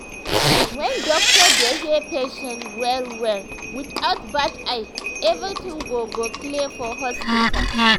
when doctor dey hear patient well-well without bad eye everything go go clear for hospital.